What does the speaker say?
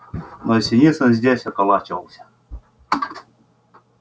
но синицын здесь околачивался